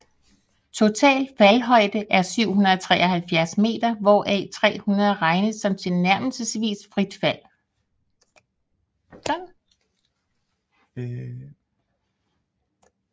Total faldhøjde er 773 meter hvoraf 300 regnes som tilnærmelsesvist frit fald